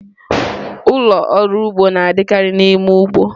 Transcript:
Ụlọ ọrụ ugbo na-adịkarị n'ime ugbo.